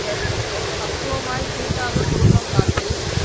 பக்குவமாய்க் கூட்டாகக் குடும்பம் காத்துச்